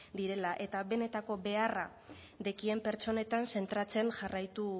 direla eta benetako beharra daukaten pertsonetan zentratzen jarraitu